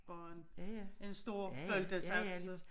Bare en stor boltsaks